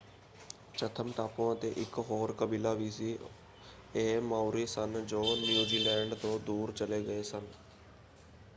Chatham ਟਾਪੂਆਂ ‘ਤੇ ਇੱਕ ਹੋਰ ਕਬੀਲਾ ਵੀ ਸੀ ਇਹ ਮਾਓਰੀ ਸਨ ਜੋ ਨਿਊਜ਼ੀਲੈਂਡ ਤੋਂ ਦੂਰ ਚਲੇ ਗਏ ਸਨ।